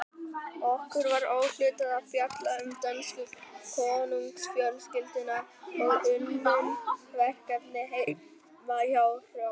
Okkur var úthlutað að fjalla um dönsku konungsfjölskylduna og unnum verkefnið heima hjá Hrönn.